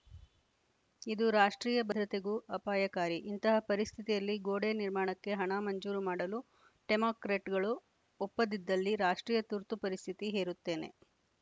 ಇದು ರಾಷ್ಟ್ರೀಯ ಭದ್ರತೆಗೂ ಅಪಾಯಕಾರಿ ಇಂತಹ ಪರಿಸ್ಥಿತಿಯಲ್ಲಿ ಗೋಡೆ ನಿರ್ಮಾಣಕ್ಕೆ ಹಣ ಮಂಜೂರು ಮಾಡಲು ಟೆಮಾಕ್ರೆಟ್‌ಗಳು ಒಪ್ಪದಿದ್ದಲ್ಲಿ ರಾಷ್ಟ್ರೀಯ ತುರ್ತು ಪರಿಸ್ಥಿತಿ ಹೇರುತ್ತೇನೆ